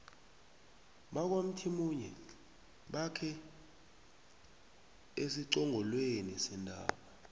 bakwamthimunye bakhe esiqongolweni sentaba